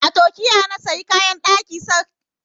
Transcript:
A Turkiya na sayo kayan ɗaki na shekarar da ta gabata